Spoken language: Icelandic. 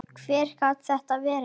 Hver gat þetta verið?